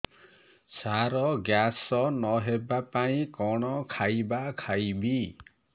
ସାର gas ନ ହେବା ପାଇଁ କଣ ଖାଇବା ଖାଇବି